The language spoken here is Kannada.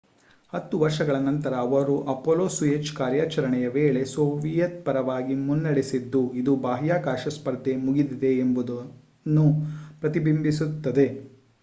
ಹತ್ತು ವರ್ಷಗಳ ನಂತರ ಅವರು ಅಪೊಲೊ-ಸೋಯುಜ್ ಕಾರ್ಯಾಚರಣೆಯ ವೇಳೆ ಸೋವಿಯತ್ ಪರವಾಗಿ ಮುನ್ನಡೆಸಿದ್ದು ಅದು ಬಾಹ್ಯಾಕಾಶ ಸ್ಪರ್ಧೆ ಮುಗಿದಿದೆ ಎಂಬುದನ್ನು ಪ್ರತಿಬಿಂಬಿಸುತ್ತದೆ